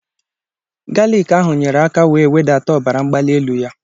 Galiki ahụ nyere aka wee wedata ọbara mgbali elu ya